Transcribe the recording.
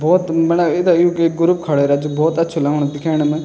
भौत मणा इदा यूँकी ग्रुप खड़ा रज भौत अच्छु लगणु दिखेण मा।